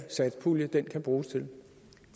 satspulje kan bruges til